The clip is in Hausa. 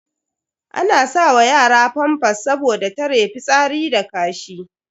Ana sa wa yara famfas saboda tare fitsari da kashi.